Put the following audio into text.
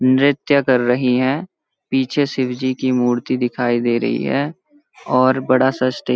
नृत्य कर रही हैं पीछे शिव जी की मूर्ति दिखाई दे रही है और बड़ा-सा स्टेज --